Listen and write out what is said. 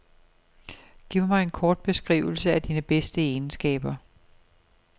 Giv mig en kort beskrivelse af dine bedste egenskaber.